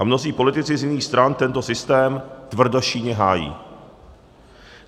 A mnozí politici z jiných stran tento systém tvrdošíjně hájí.